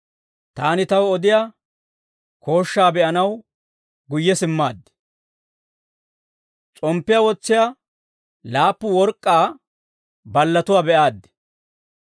Taani taw odiyaa kooshshaa be'anaw guyye simmaaddi; s'omppiyaa wotsiyaa laappu work'k'aa ballatuwaa be'aaddi.